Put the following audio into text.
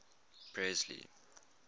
presley